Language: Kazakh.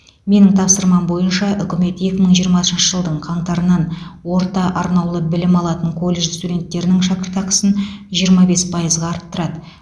менің тапсырмам бойынша үкімет екі мың жиырмасыншы жылдың қаңтарынан орта арнаулы білім алатын колледж студенттерінің шәкіртақысын жиырма бес пайызға арттырады